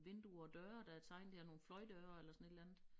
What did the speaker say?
Vinduer døre der er tegnet her nogle fløjdøre eller sådan et eller andet